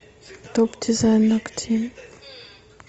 топ дизайн ногтей